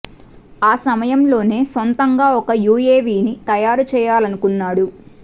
ఆ సమయంలోనే సొం తంగా ఒక యూఏవీని తయారు చేయాల నుకున్నాడు